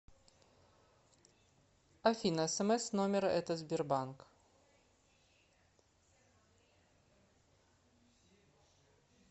афина смс с номера это сбербанк